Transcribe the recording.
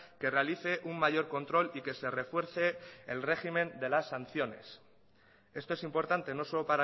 que realice un mayor control y que se refuerce el régimen de las sanciones esto es importante no solo